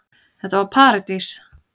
Þetta var paradís.